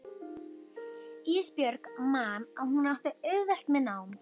Ísbjörg man að hún átti auðvelt með nám.